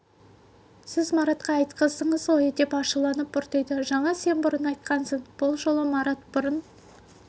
сіз маратқа бұрын айтқыздыңыз ғой деп ашуланып бұртиды жаңа сен бұрын айтқансың бұл жолы марат бұрын